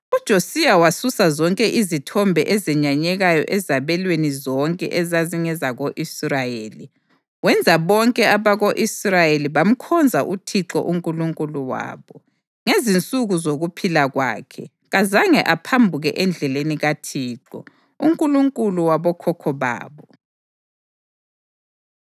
UJosiya wasusa zonke izithombe ezenyanyekayo ezabelweni zonke ezazingezako-Israyeli, wenza bonke abako-Israyeli bamkhonza uThixo uNkulunkulu wabo. Ngezinsuku zokuphila kwakhe kazange aphambuke endleleni kaThixo, uNkulunkulu wabokhokho babo.